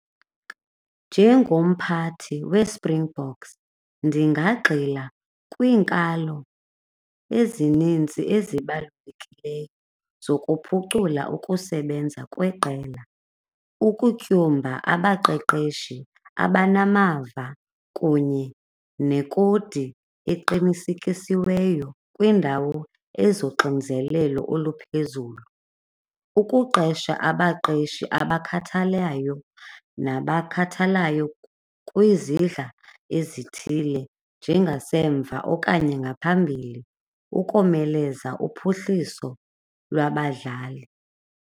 Njengomphathi weSpringboks ndingagxila kwiinkalo ezininzi ezibalulekileyo zokuphucula ukusebenza kweqela, ukutyumba abaqeqeshi abanamava kunye nekodi eqinisekisiweyo kwiindawo ezoxinzelelo oluphezulu. Ukuqesha abaqeshi abakhathalayo nabakhathalayo kwizidla ezithile njengasemva okanye ngaphambili ukomeleza uphuhliso lwabadlali.